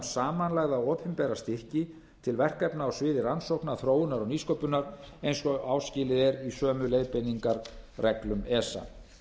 um samanlagða opinbera styrki til verkefna á sviði rannsókna þróunar og nýsköpunar eins og áskilið er í sömu leiðbeiningarreglum esa